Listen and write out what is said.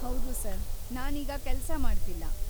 ಹೌದು ಸರ್‌, ನಾನೀಗ ಕೆಲ್ಸ ಮಾಡ್ತಿಲ್ಲ.